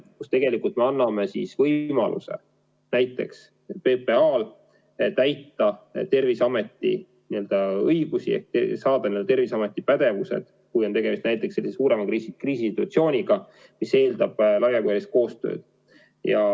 Me tegelikult anname PPA-le võimaluse kasutada Terviseameti õigusi ehk saada Terviseameti pädevused, kui on tegemist suurema kriisisituatsiooniga, mis eeldab laiapõhjalist koostööd.